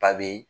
A be